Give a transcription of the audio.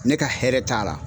Ne ka hɛrɛ t'a la.